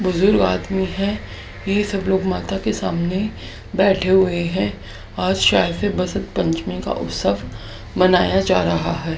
बुजुर्ग आदमी है ये सब लोग माता के सामने बैठे हुए है और शायद ये बसन्त पंचमी का उत्सव मनाया जा रहा है।